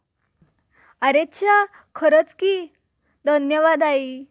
अरेच्या खरच कि धन्यवाद आई.